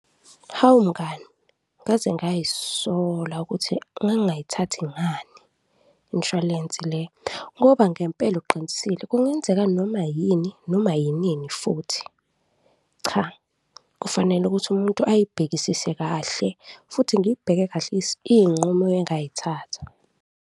Hawu mngani! Ngaze ngazisola ukuthi ngangingayithathi ngani inshwalense le ngoba ngempela uqinisile, kungenzeka noma yini noma yinini futhi. Cha, kufanele ukuthi umuntu ayibhekisise kahle futhi ngibheke kahle iy'nqumo engayithatha.